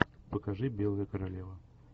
покажи белая королева